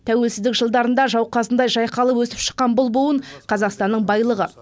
тәуелсіздік жылдарында жауқазындай жайқалып өсіп шыққан бұл буын қазақстанның байлығы